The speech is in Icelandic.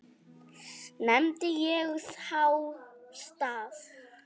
Nefndi ég þá stað.